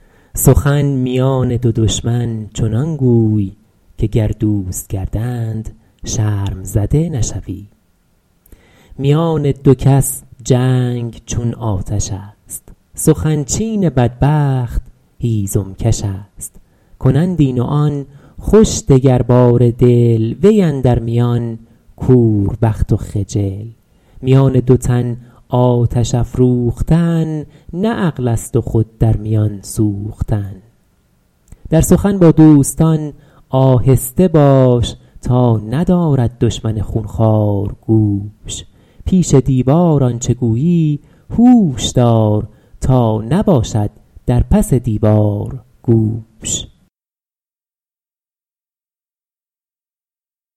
سخن میان دو دشمن چنان گوی که گر دوست گردند شرم زده نشوی میان دو کس جنگ چون آتش است سخن چین بدبخت هیزم کش است کنند این و آن خوش دگرباره دل وی اندر میان کوربخت و خجل میان دو تن آتش افروختن نه عقل است و خود در میان سوختن در سخن با دوستان آهسته باش تا ندارد دشمن خونخوار گوش پیش دیوار آنچه گویی هوش دار تا نباشد در پس دیوار گوش